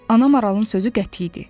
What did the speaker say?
Ana maralın sözü qəti idi.